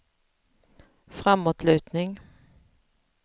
framåtlutning